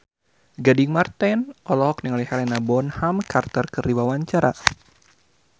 Gading Marten olohok ningali Helena Bonham Carter keur diwawancara